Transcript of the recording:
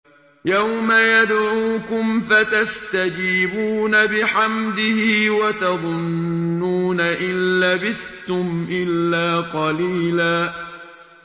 يَوْمَ يَدْعُوكُمْ فَتَسْتَجِيبُونَ بِحَمْدِهِ وَتَظُنُّونَ إِن لَّبِثْتُمْ إِلَّا قَلِيلًا